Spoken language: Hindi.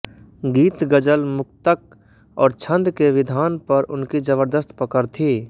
गीत गजल मुक्तक और छन्द के विधान पर उनकी जबर्दस्त पकड़ थी